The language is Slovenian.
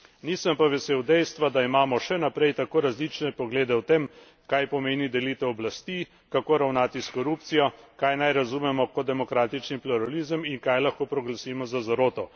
Nisem pa vesel dejstva, da imamo še naprej tako različne poglede o tem, kaj pomeni delitev oblasti, kako ravnati s korupcijo, kaj razumemo kot demokratični pluralizem in kaj lahko proglasimo za zaroto.